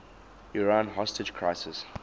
iran hostage crisis